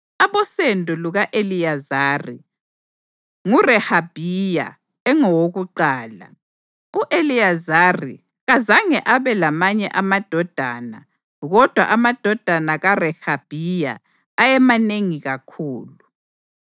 Abosendo luka-Eliyezari: nguRehabhiya engowakuqala. U-Eliyezari kazange abe lamanye amadodana kodwa amadodana kaRehabhiya ayemanengi kakhulu.